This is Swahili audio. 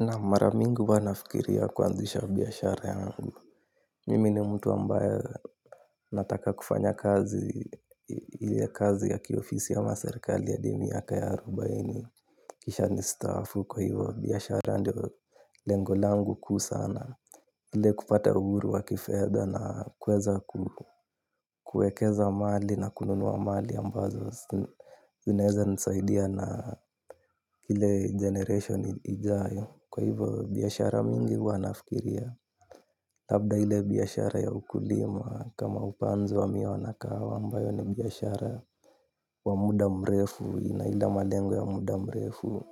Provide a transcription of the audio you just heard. Na maramingi huwanafikiria kuanzisha biashara yangu. Mimi ni mtu ambaye nataka kufanya kazi ile kazi ya kiofisi ama serikali ha di mia kaya arubaini. Kisha ni staffu kwa hivyo biashara ndio lengolangu kuu sana. Ile kupata uhuru wa kifedha na kweza kuekeza mahali na kununua mali ambazo zinaeza nisaidia na ile generation ijayo. Kwa hivyo biashara mingi huwa nafikiria labda ile biashara ya ukulima kama upanzi wa miwa na kahawa ambayo ni biashara wa mda mrefu ina ile malengo ya mda mrefu